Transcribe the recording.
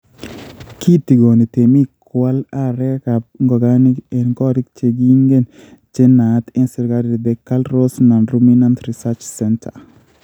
Kitigoni temik koal arekab ngogaik en korik chekigenyen che naat en serkali the KALRO’S Non-Ruminant Research Centre.